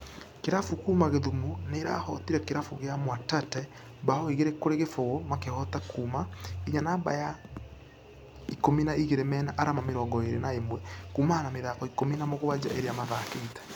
Kĩrabu kuuma gĩthumũ nĩirahotire kĩrabu gĩa mwatate bao igĩrĩ kũrĩ kĩfũgũ makĩhota kuuma ....nginya namba ya ikũmi na igĩrĩ mena arama mĩrongo ĩrĩ na imwe kuumana na mĩthako ikũmi na mũgwaja iria mathakĩte.